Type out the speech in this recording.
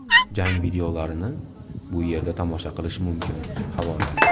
Jang videolarini bu yerda tomosha qilish mumkin havola .